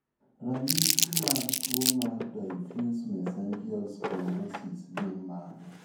Ranyisi mag tuwo mar Diffuse mesangial sclerosis gin mage?